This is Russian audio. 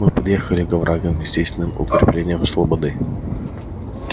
мы подъехали к оврагам естественным укреплениям слободы